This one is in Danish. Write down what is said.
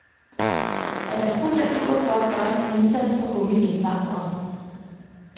Han er fuld af iver for at gøre en indsats for unge ind vandrere.